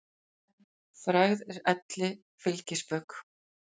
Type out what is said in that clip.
Frægð er elli fylgispök.